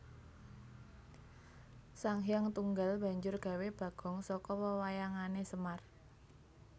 Sanghyang Tunggal banjur gawé bagong saka wewayangané Semar